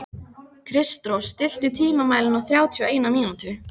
Kristrós, stilltu tímamælinn á þrjátíu og eina mínútur.